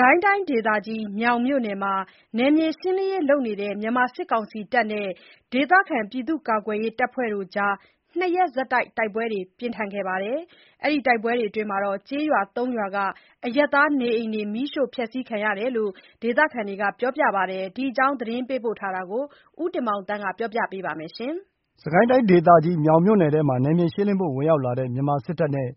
ကိုင်းတိုင်းဒေသကြီး မြောင်မြို့နယ်မှာ နယ်မြေရှင်းလင်းရေးလုပ်နေတဲ့ မြန်မာစစ်ကောင်စီတပ်နဲ့ ဒေသခံကာကွယ်ရေးတပ်ဖွဲ့တွေ ၂ ရက်ဆက်တိုက် တိုက်ပွဲတွေ ဖြစ်ခဲ့ပါတယ်။ ကျေးရွာသုံးရွာက အရပ်သားနေအိမ်တွေ မီးရှို့ခံခဲ့ရတယ်လို့ ဒေသခံကပြောပြပါတယ်။ ဒီအကြောင်းသတင်းပေးပို့ချက်ကို ဦးတင်မောင်သန်းက တင်ပြပေးထားပါတယ်။ စစ်ကိုင်းတိုင်းဒေသကြီး မြောင်မြို့နယ်ထဲမှာ နယ်မြေရှင်းလင်းဖို့ ဝင်ရောက်လာတဲ့ မြန်မာစစ်တပ်နဲ့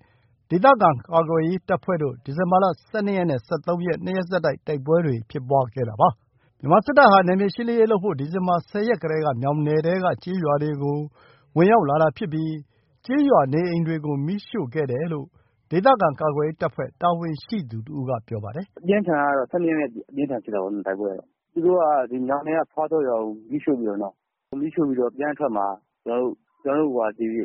ဒေသခံကာကွယ်ရေးတပ်ဖွဲ့တို့ ဒီဇင်ဘာ ၁၂ ရက်နဲ့ ၁၃ ရက်မှာ ၂ ရက်ဆက်တိုက် တိုက်ပွဲတွေဖြစ်ပွားခဲ့ပါတယ်။ မြန်မာစစ်တပ်ဟာ နယ်မြေရှင်းလင်းရေးလုပ်ဖို့ ဒီဇင်ဘာ ၁၀ ရက်ကတည်းက မြောင်နယ်ထဲက ကျေးရွာတွေထဲကို ဝင်ရောက်လာတာဖြစ်ပြီး ကျေးရွာနေအိမ်တွေကို မီးရှို့ခဲ့တယ်လို့ ဒေသခံကာကွယ်ရေးတပ်ဖွဲ့တာဝန်ရှိသူတဦးက ပြောပါတယ်။ “၁၂ ရက်နေ့မှ အပြင်းအထန်ဖြစ်တာပေါ့နော်။ သူတို့ကမြောင်နယ်က ဖွားစောရွာကို မီးရှို့ပြီးတော့ပြန်အထွက်မှာ ကျနော်တို့ ဒေသခံကာကွယ်ရေး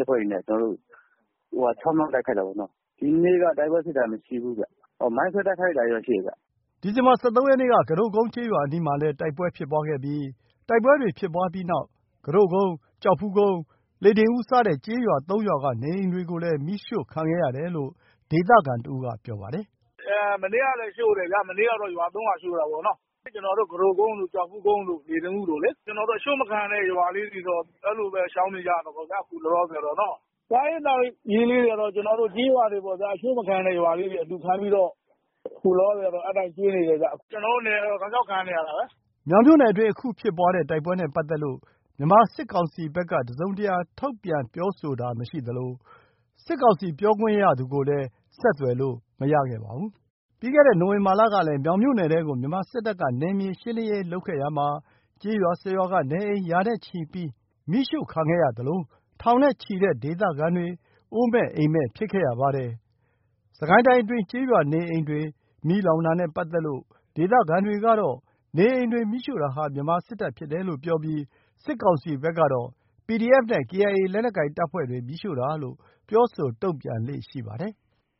တပ်ဖွဲ့တွေနဲ့ တိုက်ခိုက်တာပေါ့။ ဒီနေ့ကတော့ တိုက်ပွဲဖြစ်တာမရှိဘူး။ မိုင်းဆွဲတိုက်ခိုက်တာတော့ရှိတယ်။” ဒီဇင်ဘာ ၁၃ ရက်နေ့က ကူးတို့ကုန်းကျေးရွာနားမှာလည်း တိုက်ပွဲတွေဖြစ်ခဲ့ပြီးနောက် ကူးတို့ကုန်း ၊ ကျောက်ဖူးကုန်း၊ လှေတင်ဦးစတဲ့ ကျေးရွာ ၃ ရွာက နေအိမ်တွေကိုလည်း မီးရှို့ခံခဲ့ရတယ်လို့ ဒေသခံတဦးက ပြောပါတယ်။ “မနေ့လည်းရှို့တယ်ဗျာ။ မနေ့ကတော့ ရွာ ၃ ရွာရှို့တာပေါ့။ ကျနော်တို့ ကူးတို့ကုန်း ၊ ကျောက်ဖူးကုန်း ၊ လှေတင်ဦး တို့လေ။ အရှို့မခံရတဲ့ ရွာလေးတွေတော့ အဲ့လိုပဲရှောင်နေကြရတာပေါ့။ အခုလောလောဆယ်တော့။ စားရေးသောက်ရေးတွေက ကျေးရွာတွေပေါ့။ အရှို့မခံရတဲ့ရွာလေးတွေ အလှူခံပြီးတော့ အဲ့အတိုင်းကျွေးနေတယ်ဗျ။ ကျနော်တို့နယ်က တောက်လျှောက်ခံနေရတာပဲ။” မြောင်မြို့နယ်အတွင်း အခုဖြစ်ပွားတဲ့တိုက်ပွဲနဲ့ပတ်သက်လို့ မြန်မာစစ်ကောင်စီဘက်က တစုံတရာထုတ်ပြန်ပြောဆိုတာမရှိသလို စစ်ကောင်စီပြောခွင့်ရသူကိုလည်း ဆက်သွယ်လို့မရခဲ့ပါဘူး။ ပြီးခဲ့တဲ့ နိုဝင်ဘာလကလည်း မြောင်မြို့နယ်ထဲကို မြန်မာစစ်တပ်က နယ်မြေရှင်းလင်းရေးလုပ်ခဲ့ရာမှာ ကျေးရွာ ၁၀ ရွာက နေအိမ်ရာနဲ့ချီမီးရှို့ခံခဲ့ရပြီး ထောင်နဲ့ချီတဲ့ဒေသခံတွေ အိုးမဲ့အိမ်မဲ့ဖြစ်ခဲ့ရပါတယ်။ စစ်ကိုင်းတိုင်းအတွင်း ကျေးရွာနေအိမ်တွေမီးလောင်တာနဲ့ ပတ်သက်လို့ ဒေသခံတွေကတော့ နေအိမ်တွေမီးရှို့တာဟာ မြန်မာစစ်တပ်ဖြစ်တယ်လို့ ပြောပြီး စစ်ကောင်စီဘက်ကတော့ PDF နဲ့ KIA လက်နက်ကိုင်တပ်ဖွဲ့တွေ မီးရှို့တာလို့ပြောဆိုတုံ့ပြန်လေ့ရှိပါတယ်။